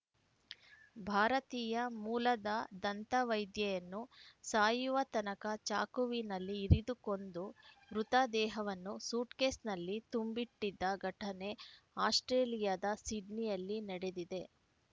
ಭಾರತೀಯ ಮೂಲದ ದಂತವೈದ್ಯೆಯನ್ನು ಸಾಯುವ ತನಕ ಚಾಕುವಿನಲ್ಲಿ ಇರಿದುಕೊಂದು ಮೃತದೇಹವನ್ನು ಸೂಟ್‌ಕೇಸ್‌ನಲ್ಲಿ ತುಂಬಿಟ್ಟಿದ್ದ ಘಟನೆ ಆಸ್ಟ್ರೇಲಿಯಾದ ಸಿಡ್ನಿಯಲ್ಲಿ ನಡೆದಿದೆ